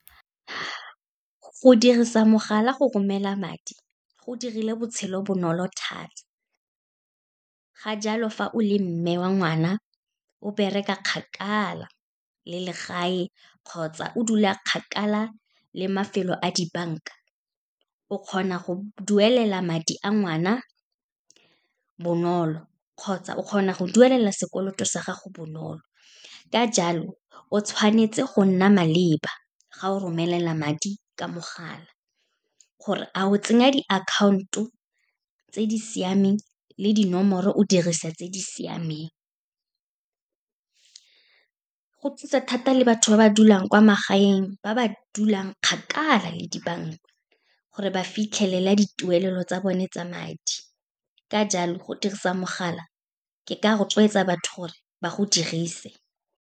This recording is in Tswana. Go dirisa mogala go romela madi, go dirile botshelo bonolo thata. Ka jalo, fa o le mme wa ngwana, o bereka kgakala le legae kgotsa o dula kgakala le mafelo a dibanka, o kgona go duelela madi a ngwana bonolo, kgotsa o kgona go duelela sekoloto sa gago bonolo. Ka jalo, o tshwanetse go nna maleba fa o romela madi ka mogala, gore a o tsenya diakhaonto tse di siameng le dinomoro, o dirise tse di siameng. Go thusa thata le batho ba ba dulang kwa magaeng, ba ba dulang kgakala le dibanka, gore ba fitlhelela dituelo tsa bone tsa madi. Ka jalo, go dirisa mogala, ke ka rotloetsa batho gore ba go dirise.